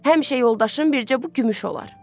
Həmişə yoldaşım bircə bu gümüş olar.